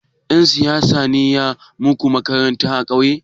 Ɗan siyaya ne ya gina muku makaranta a ƙauye?